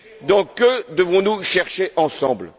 Donc, que devons nous chercher ensemble?